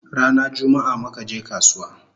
Rana jummaa muka je kasuwa